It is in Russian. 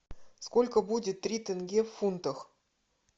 сколько будет три тенге в фунтах